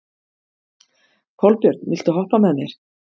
Kolbjörn, viltu hoppa með mér?